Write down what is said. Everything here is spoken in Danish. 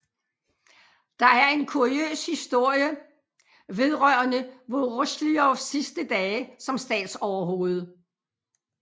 Der er en kuriøs historie vedrørende Vorosjilovs sidste dage som statsoverhoved